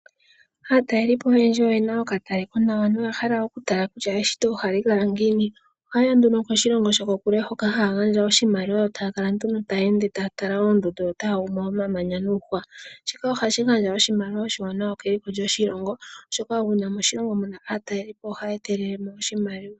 Aatalelipo oyendji oyena ookataleko nawa, oha yayi nduno koshilongo sho ko kule hono haya gandja iimaliwa, yo taakala nduno taatala oondundu, omamanya niihwa shika ohashi gandja oshimaliwa oshiwanawa keliko lyoshilongo, oshoka uuna moshilongo muna aataleli po ohaagandja oshimaliwa.